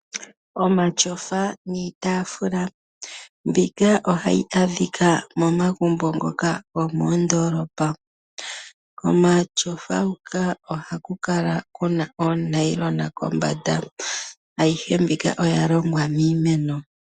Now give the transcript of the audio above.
Omatyofa niitaafula ohayi adhika momagumbo ngoka gomoondolopa. Omatyofa ohaga kala gena oonayilona kombanda . Ayihe mbika oya longwa miimeno.